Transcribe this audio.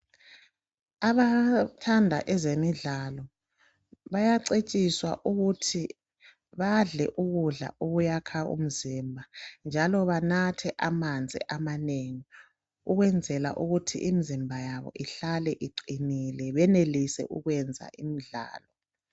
Abathanda ezemidlalo bayacetshiswa ukuthi badle ukudla okuyakha umzimba njalo banathe amanzi amanengi ukwenzela ukuthi imizimba yabo ihlale iqinile benelise ukwenza imidlalo.